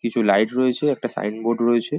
কিছু লাইট রয়েছে একটা সাইন বোর্ড রয়েছে ।